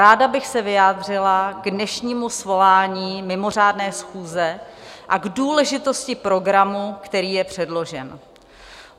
Ráda bych se vyjádřila k dnešnímu svolání mimořádné schůze a k důležitosti programu, který je předložen.